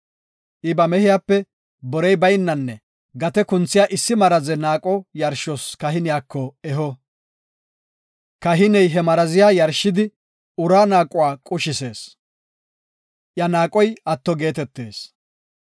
I ba mehiyape borey baynanne gate kunthiya issi maraze naaqo yarshos kahiniyako eho. Kahiney he maraziya yarshidi uraa naaquwa qushisees; iya naaqoy atto geetetees.